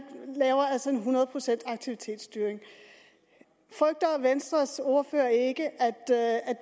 laver altså en hundrede procents aktivitetsstyring frygter venstres ordfører ikke at